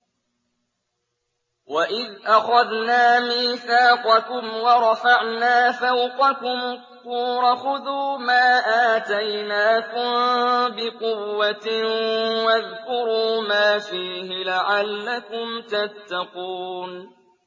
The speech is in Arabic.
وَإِذْ أَخَذْنَا مِيثَاقَكُمْ وَرَفَعْنَا فَوْقَكُمُ الطُّورَ خُذُوا مَا آتَيْنَاكُم بِقُوَّةٍ وَاذْكُرُوا مَا فِيهِ لَعَلَّكُمْ تَتَّقُونَ